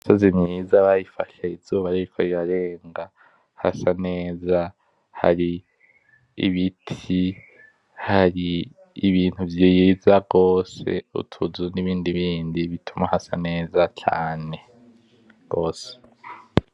Imisozi myiza bayifashe izuba ririko rirarenga, hasa neza, hari ibiti, hari ibintu vyiza gose, utuzu n'ibindi bindi bituma hasa neza cane gose.